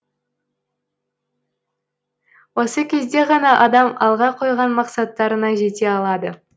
осы кезде ғана адам алға қойған мақсаттарына жете алады